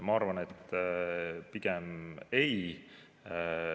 Ma arvan, et pigem ei.